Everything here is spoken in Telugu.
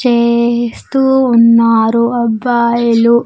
చేస్తూ ఉన్నారు అబ్బాయిలు.